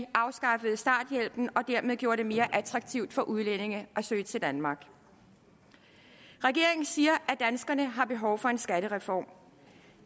afskaffede starthjælpen og dermed gjorde det mere attraktivt for udlændinge at søge til danmark regeringen siger at danskerne har behov for en skattereform